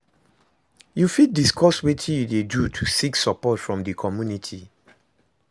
you fit discuss wetin you dey do to seek support from di community?